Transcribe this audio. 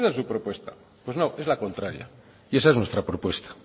esa es su propuesta pues no es la contraria y esa es nuestra propuesta